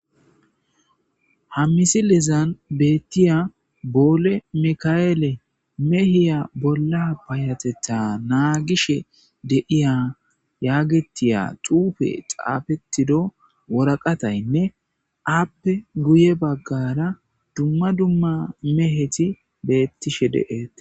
Ha misilezan beettiya boole mika7ele mehiya bolla bayatetta naagishe de'iya yaagetiya xuufe xaafettido woraqataynne aappe guye baggara dumma dumma meheti beettishe deeete.